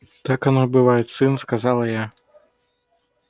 так оно и бывает сын сказал я